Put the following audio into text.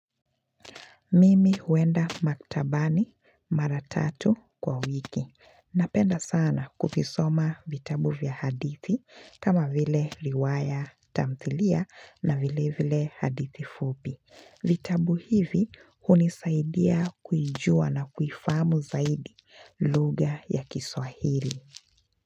Mimi huenda maktabani mara tatu kwa wiki. Napenda sana kuvisoma vitabu vya hadithi kama vile riwaya, tamthilia na vile vile hadithi fupi. Vitabu hivi hunisaidia kuijua na kuifamu zaidi lugha ya kiswahili.